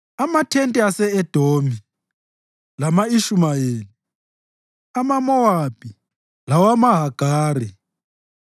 amathente ase-Edomi lama-Ishumayeli, awamaMowabi lawamaHagari,